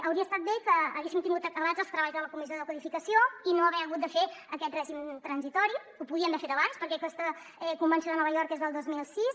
hauria estat bé que haguéssim tingut acabats els treballs de la comissió de codificació i no haver hagut de fer aquest règim transitori ho podíem haver fet abans perquè aquesta convenció de nova york és del dos mil sis